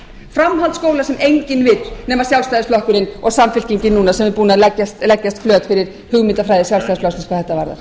framhaldsskóla sem enginn vill nema sjálfstæðisflokkurinn og samfylkingin núna sem er búin að leggjast flöt fyrir hugmyndafræði sjálfstæðisflokksins hvað þetta varðar